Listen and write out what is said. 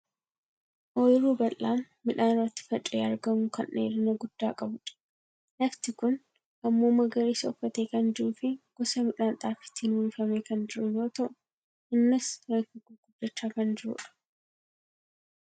Oyiruu bal'aa midhaan irratti faca'ee argamu kan dheerina guddaa qabudha. lafti kun ammoo magariisa uffatee kan jiruu fi gosa midhaan xaafiitiin uwwifamee kan jiru yoo ta'u innis reefu gurguddachaa kan jirudha.